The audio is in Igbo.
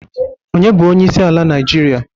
Onye bu onyeisi ala naijiria?